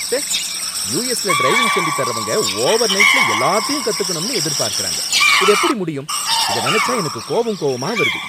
ச்சே! யுஎஸ்ல டிரைவிங் சொல்லித் தர்றவங்க ஓவர்நைட்ல எல்லாத்தையும் கத்துக்கணும் எதிர்பார்க்கறாங்க, இது எப்படி முடியும்? இத நினைச்சா எனக்கு கோவம் கோவமா வருது!